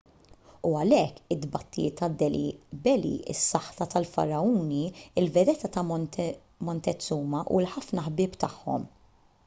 u għalhekk it-tbatijiet ta' delhi belly is-saħta tal-faragħuni il-vedetta ta' montezuma u l-ħafna ħbieb tagħhom